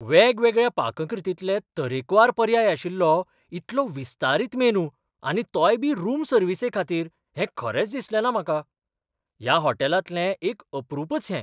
वेगवेगळ्या पाककृतींतलें तरेकवार पर्याय आशिल्लो इतलो विस्तारीत मेनू आनी तोय बी रूम सर्विसेखातीर हें खरेंच दिसलेंना म्हाका. ह्या होटॅलांतलें एक अपरूपच हें!